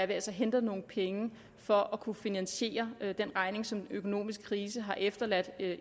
vi altså henter nogle penge for at kunne finansiere den regning som den økonomiske krise har efterladt